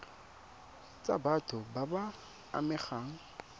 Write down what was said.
tsa batho ba ba amegang